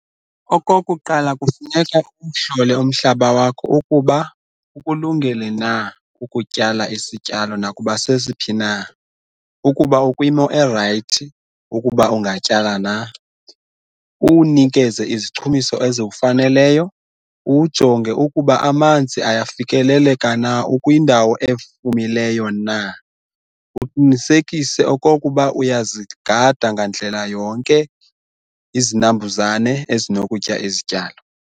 Okokuqala, kufuneka uwuhlole umhlaba wakho ukuba ukulungele na ukutyala isityalo nakuba sesiphi na ukuba ukwimo erayithi ukuba ungatyala na, uwunikeze izichumiso eziwufaneleyo, uwujonge ukuba amanzi ayafikeleleka na, ukwindawo efumileyo na. Uqinisekise okokuba uyazigada ngandlela yonke izinambuzane ezinokutya izityalo.